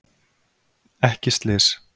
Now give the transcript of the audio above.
Ekki slys